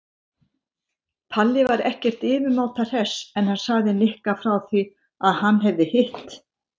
Palli var ekkert yfirmáta hress en sagði Nikka frá því að hann hefði hitt